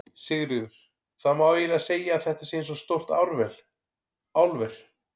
Sigríður: Það má eiginlega segja að þetta sé eins og stórt álver?